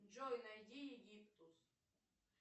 джой найди египтус